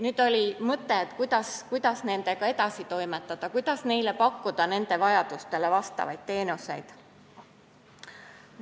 Nüüd oli mõte, kuidas nendega edasi toimetada ja pakkuda nende vajadustele vastavaid teenuseid.